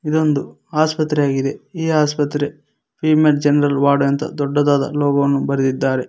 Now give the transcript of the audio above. ಇದೊಂದು ಆಸ್ಪತ್ರೆ ಆಗಿದೆ ಈ ಆಸ್ಪತ್ರೆ ಫೀಮೇಲ್ ಜನರಲ್ ವಾರ್ಡ್ ದೊಡ್ಡದಾದ ಲೋಗೋ ಅನ್ನು ಬರೆದಿದ್ದಾರೆ.